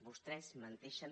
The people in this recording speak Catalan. vostès menteixen